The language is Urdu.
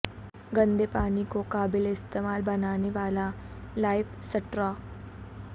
گندے پانی کو قابل استعمال بنانے والا لائف سٹرا